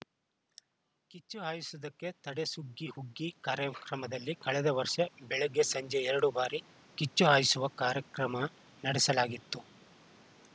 ಕಿಚ್ಚು ಹಾಯಿಸುವುದಕ್ಕೆ ತಡೆ ಸುಗ್ಗಿ ಹುಗ್ಗಿ ಕಾರ್ಯಕ್ರಮದಲ್ಲಿ ಕಳೆದ ವರ್ಷ ಬೆಳಗ್ಗೆ ಸಂಜೆ ಎರಡು ಬಾರಿ ಕಿಚ್ಚು ಹಾಯಿಸುವ ಕಾರ್ಯಕ್ರಮ ನಡೆಸಲಾಗಿತ್ತು